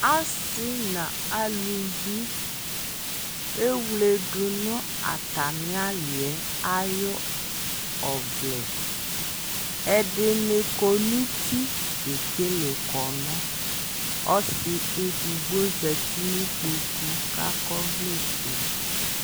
asii nʋ alʋvi ɛwlɛdʋ nʋ atami aliɛ ayʋ ɔvlɛ, ɛdini kɔnʋ ʋti kɛkɛlɛ kɔnʋ, ɔsii ɛdigbɔ zati nʋ ikpɔkʋ kʋ akɔ ɔvlɛ ƒʋɛ